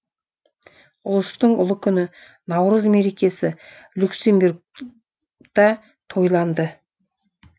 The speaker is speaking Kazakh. ұлыстың ұлы күні наурыз мерекесі люксембургта тойланды